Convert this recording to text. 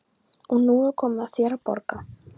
Og nú er komið að þér að borga.